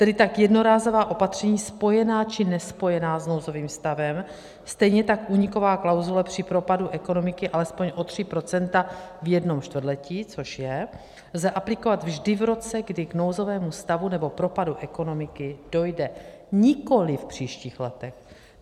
Tedy ta jednorázová opatření spojená či nespojená s nouzovým stavem, stejně tak úniková klauzule při propadu ekonomiky alespoň o 3 % v jednom čtvrtletí, což je, lze aplikovat vždy v roce, kdy k nouzovému stavu nebo propadu ekonomiky dojde, nikoliv v příštích letech.